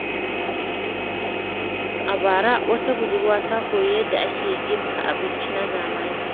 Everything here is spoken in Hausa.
A bara, wata budurwa ta koyi yadda ake girka abinci na zamani.